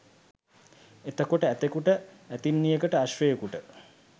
එතකොට ඇතෙකුට ඇතින්නියකට අශ්වයකුට